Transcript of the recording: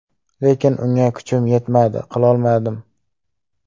Lekin unga kuchim yetmadi, qilolmadim.